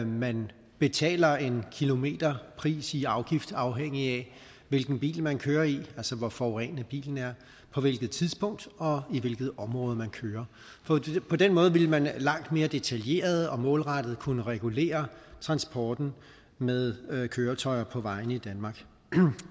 man betaler en kilometerpris i afgift afhængigt af hvilken bil man kører i altså hvor forurenende bilen er på hvilket tidspunkt og i hvilket område man kører på den måde ville man langt mere detaljeret og målrettet kunne regulere transporten med køretøjer på vejene i danmark